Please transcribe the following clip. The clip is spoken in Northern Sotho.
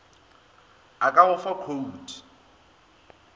a ka go fa khoute